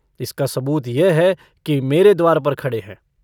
इसका सबूत यह है कि मेरे द्वार पर खड़े हैं।